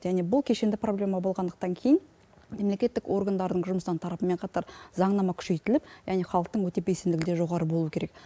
және бұл кешенді проблема болғандықтан кейін мемлекеттік органдардың жұмыстан тарапымен қатар заңнама күшейтіліп яғни халықтың өте белсенділігі де жоғары болуы керек